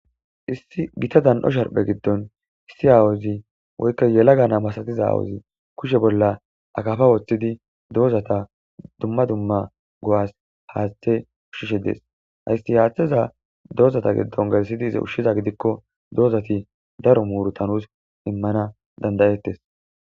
Issi gita dan'o sharphe giddon issi aawozi woykka yelaggana masatiza aawozi kushe bolla akafa woththidi doozata dumma dumma go'as haaththe ushshishe dees haysti haaththeza doozata giddon galsidi iza ushshiza gidikko doozati daro muurutanus immana dandayettes